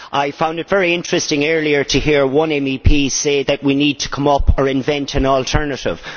I found it very interesting earlier to hear one MEP say that we need to come up with or invent an alternative.